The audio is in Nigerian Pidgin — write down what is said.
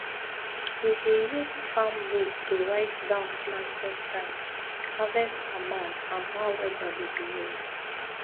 we dey use farm book to write down planting time harvest amount and how weather dey behave